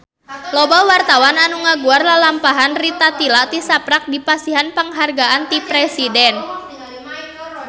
Loba wartawan anu ngaguar lalampahan Rita Tila tisaprak dipasihan panghargaan ti Presiden